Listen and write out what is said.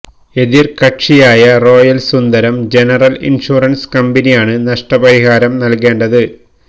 എതിർ കക്ഷിയായ royal Sundaram general insurance കമ്പനിയാണ് നഷ്ടപരിഹാരം നൽകേണ്ടത്